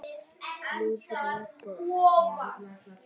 Móðir með barn.